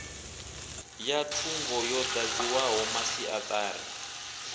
ya thungo yo dadziwaho masiatari